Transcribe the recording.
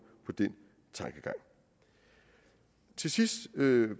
på den tankegang til sidst vil